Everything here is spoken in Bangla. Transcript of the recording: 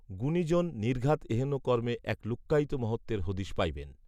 গুণিজন নির্ঘাত এহেন কর্মে এক লুক্কায়িত মহত্ত্বের হদিশ পাইবেন